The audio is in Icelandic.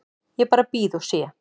Ég bara bíð og sé.